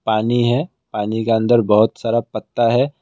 पानी है पानी के अंदर बहुत सारा पत्ता है।